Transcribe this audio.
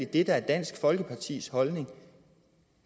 det der er dansk folkepartis holdning